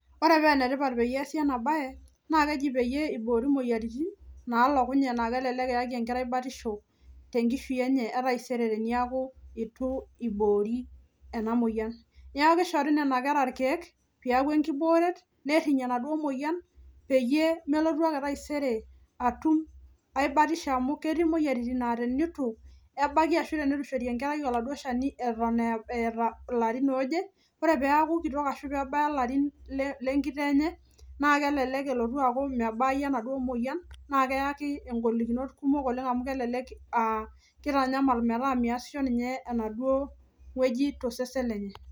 Ore paa enetipat peyie easi ena baye naa keji peyie iboori imoyiaitin naalokunye naa kelelek eyaki enkerai batisho tenkishui enye e taisere teniaku itu iboori ena moyiani niaku kishori nena kera irkeek piaku enkibooret nerriny enaduo moyian peyie melotu ake taisere atum ae batisho amu ketii imoyiaritin naa tinitu ebaki ashu tenitu ishori enkerai oladuo shani eton eeta ilarin ooje ore peaku kitok ashu peebaya ilarin le lenkitoo enye naa kelelek elotu aaku mebai enaduo moyian naa keyaki engolikinot kumok amu kelelek uh kitanyamal metaa miasisho ninye enaduo wueji tosesen lenye.